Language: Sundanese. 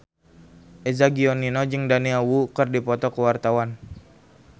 Eza Gionino jeung Daniel Wu keur dipoto ku wartawan